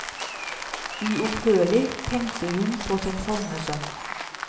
Uopphørlig tenkte hun på sin falne sønn.